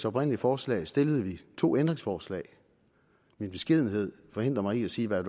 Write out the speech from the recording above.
oprindelige forslag stillede vi to ændringsforslag min beskedenhed forhindrer mig i at sige hvad